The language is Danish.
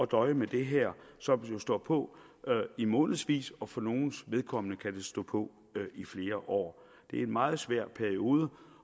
døje med det her som jo står på i månedsvis og for nogles vedkommende kan det stå på i flere år det er en meget svær periode